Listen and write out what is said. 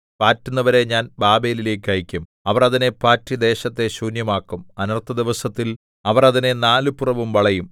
പാറ്റുന്നവരെ ഞാൻ ബാബേലിലേക്ക് അയയ്ക്കും അവർ അതിനെ പാറ്റി ദേശത്തെ ശൂന്യമാക്കും അനർത്ഥദിവസത്തിൽ അവർ അതിനെ നാലുപുറവും വളയും